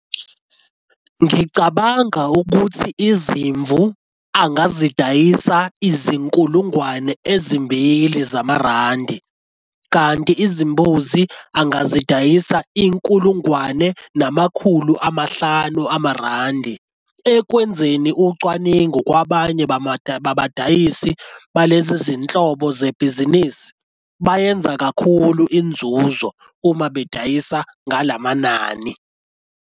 Ngicabanga ukuthi izimvu angazidayisa izinkulungwane ezimbili zamarandi kanti izimbuzi angazidayisa inkulungwane namakhulu amahlanu amarandi. Ekwenzeni ucwaningo kwabanye babadayisi balezi zinhlobo zebhizinisi bayenza kakhulu inzuzo uma bedayisa ngalamanani.